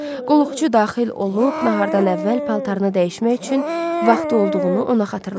Qulluqçu daxil olub nahardan əvvəl paltarını dəyişmək üçün vaxtı olduğunu ona xatırlatdı.